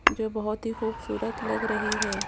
जो बोहोत ही खूबसूरत लग रही है।